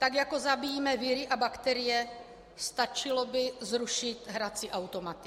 Tak jako zabíjíme viry a bakterie, stačilo by zrušit hrací automaty.